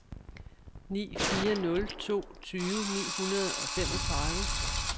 ni fire nul to tyve ni hundrede og femogtredive